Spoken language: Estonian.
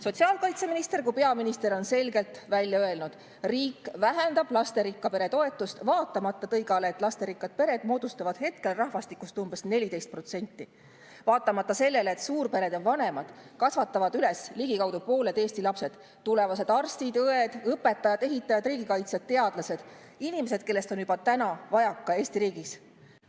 Sotsiaalkaitseminister ja ka peaminister on selgelt välja öelnud, et riik vähendab lasterikka pere toetust, vaatamata tõigale, et lasterikkad pered moodustavad rahvastikust umbes 14% ja vaatamata sellele, et suurperede vanemad kasvatavad üles ligikaudu pooled Eesti lapsed, tulevased arstid ja õed, õpetajad, ehitajad, riigikaitsjad, teadlased – inimesed, kellest on juba täna Eesti riigis vajaka.